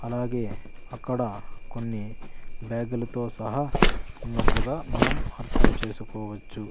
అలాగే అక్కడ కొన్ని బ్యాగులతో సహా ఉన్నట్లుగా మనం అర్థం చేసుకోవచ్చు.